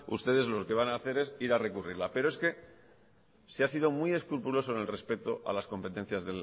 ustedes lo que van a hacer es ir a recurrirla pero es que se ha sido muy escrupuloso en el respeto a las competencias